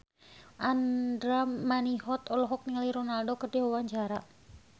Andra Manihot olohok ningali Ronaldo keur diwawancara